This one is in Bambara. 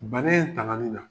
Banan in taŋali la